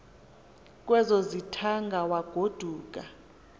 kwezo zithaanga wagoduka